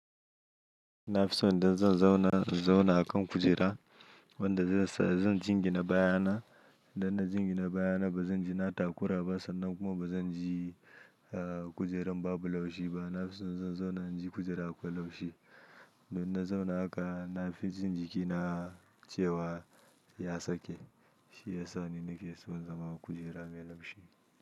Na fi so idan zan zauna, zauna a kan kujera wanda zan jingina baya na. Dan na jingina baya na ba zan ji na takura ba sannan kuma ba zan ji kujerar babu laushi ba. Na fi so zan zauna na ji kujera akwai laushi. Dan na zauna haka na fi jin jikina cewa ya sake. Shi ya sa ni nake so zama kujera mai laushi.